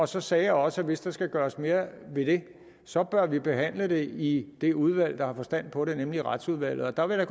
så sagde jeg også at hvis der skal gøres mere ved det så bør det behandles i det udvalg der har forstand på det nemlig retsudvalget og der vil jeg